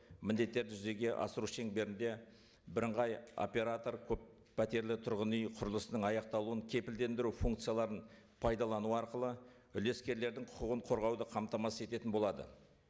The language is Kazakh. міндеттерді жүзеге асыру шеңберінде бірыңғай оператор көппәтерлі тұрғын үй құрылысының аяқталуын кепілдендіру функцияларын пайдалану арқылы үлескерлердің құқығын қорғауды қамтамасыз ететін болады